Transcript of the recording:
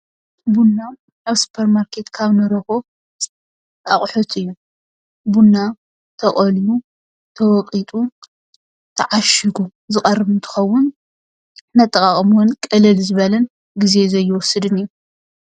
ቡና ኣብ ሱፐርማርኬት ካብ እንረኽቦ ኣቑሑት እዩ። ቡና ተቐልዩ ፣ ተወቒጡ፣ ተዓሺጉ ዝቐርብ እንትኸውን ነጠቓቕምኡ ቅልል ዝበለን ግዜ ዘይወስድን እዩ።